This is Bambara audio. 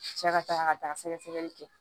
Cɛ ka taga ka taa sɛgɛsɛgɛli kɛ